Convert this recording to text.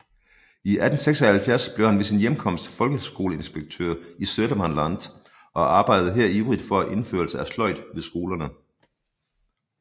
I 1876 blev han ved sin hjemkomst folkeskoleinspektør i Södermanland og arbejdede her ivrigt for indførelsen af sløjd ved skolerne